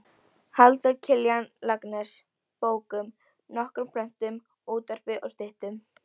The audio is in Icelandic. Halldór Kiljan Laxness bókum, nokkrum plöntum, útvarpi og styttum.